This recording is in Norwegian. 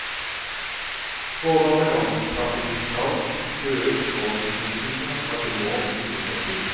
Spådommer om trafikkaos, køer og forsinkelser har til nå ikke slått til.